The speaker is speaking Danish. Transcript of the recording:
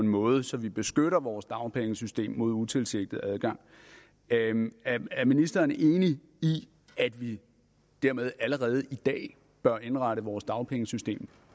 en måde så vi beskytter vores dagpengesystem mod utilsigtet adgang er ministeren enig i at vi dermed allerede i dag bør indrette vores dagpengesystem